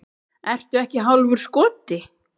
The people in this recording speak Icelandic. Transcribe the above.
Ertu ekki hálfur skoti?